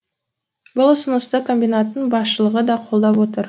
бұл ұсынысты комбинаттың басшылығы да қолдап отыр